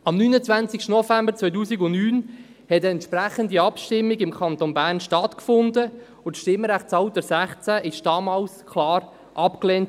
Am 29. November 2009 fand im Kanton Bern eine entsprechende Abstimmung statt, und das Stimmrechtsalter 16 wurde damals klar abgelehnt.